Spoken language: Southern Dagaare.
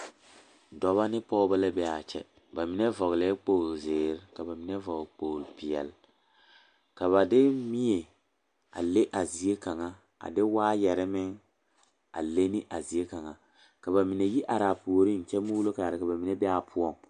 Dɔba ne pɔge la be a kyɛ ba mine vɔgle la kpogeli zeere ka ba mine vɔgle kpogli peɛle ka ba de mie a le a zie kaŋa a de waayare meŋ a le a zie kaŋa ka ba mine yi are ba puoriŋ a mɔɔlo kaara poɔŋ.